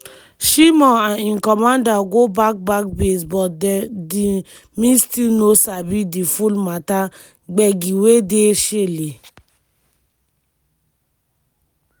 shimon and im commander go back back base but dme still no sabi di full mata gbege wey dey shele.